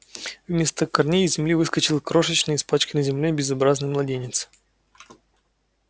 вместо корней из земли выскочил крошечный испачканный землёй безобразный младенец